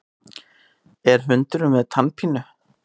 Er hundurinn með tannpínu?